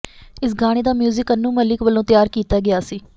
ਇਸ ਗਾਣੇ ਦਾ ਮਿਊਜ਼ਿਕ ਅਨੂੰ ਮਲਿਕ ਵੱਲੋਂ ਤਿਆਰ ਕੀਤਾ ਗਿਆ ਸੀ